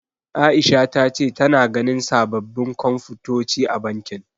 Aisha ta ce tana ganin sababbin Komfutoci a bankin.